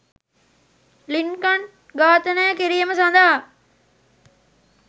Lincoln ඝාතනය කිරීම සඳහා